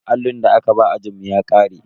Allin da aka ba ajinmu ya ƙare.